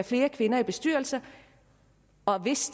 flere kvinder i bestyrelser og hvis